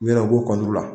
U yɛrɛ u b'o kɔnɔna la